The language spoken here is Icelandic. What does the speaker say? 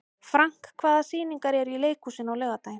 Frank, hvaða sýningar eru í leikhúsinu á laugardaginn?